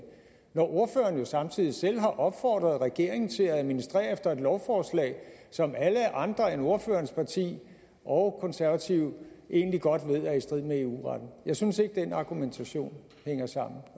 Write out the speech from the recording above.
når ordføreren jo samtidig selv har opfordret regeringen til at administrere efter et lovforslag som alle andre end ordførerens parti og konservative egentlig godt ved er i strid med eu retten jeg synes ikke den argumentation hænger sammen